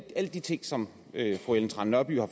alle de ting som fru ellen trane nørby har